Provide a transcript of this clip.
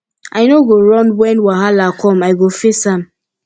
i no go run wen wahala com i go face am